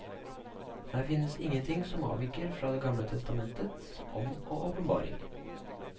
Her finnes ingen ting som avviker fra det gamle testamentets ånd og åpenbaring.